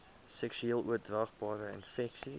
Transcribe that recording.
seksueel oordraagbare infeksies